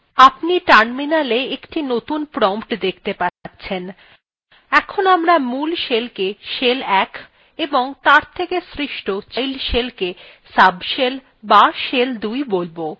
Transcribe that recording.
আপনি terminal একটি নতুন prompt দেখতে পাবেন এখন আমরা মূল shellকে shell ১ এবং তার থেকে সৃষ্ট child শেলকে subshell অথবা shell ২ বোলব